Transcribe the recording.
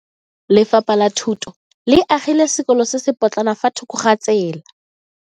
Lefapha la Thuto le agile sekolo se se potlana fa thoko ga tsela.